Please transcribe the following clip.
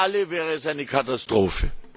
Für alle wäre es eine Katastrophe.